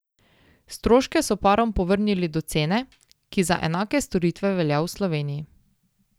Stroške so parom povrnili do cene, ki za enake storitve velja v Sloveniji.